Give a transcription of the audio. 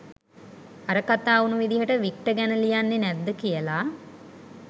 අර කතා වුනු විදිහට වික්ටර් ගැන ලියන්නේ නැද්ද කියලා.